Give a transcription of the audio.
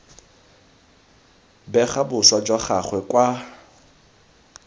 bega boswa jwa gagwe kwa